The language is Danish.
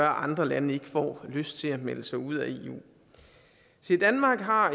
andre lande ikke får lyst til at melde sig ud af eu danmark har